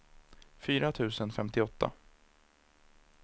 fyra tusen femtioåtta